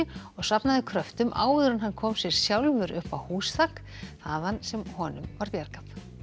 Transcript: og safnaði kröftum áður en hann kom sér sjálfur upp á húsþak þaðan sem honum var bjargað